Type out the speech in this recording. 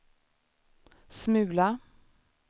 smula